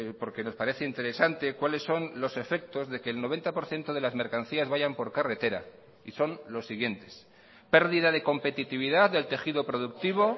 porque nos parece interesante cuáles son los efectos de que el noventa por ciento de las mercancías vayan por carretera y son los siguientes pérdida de competitividad del tejido productivo